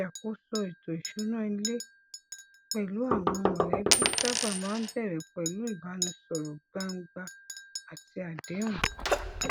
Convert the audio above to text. ṣíṣe àtúnṣe ìṣúná ní àṣebánu kò ní pèsè ìtura tí mo nílò gidigidi láti ibi àìrówóná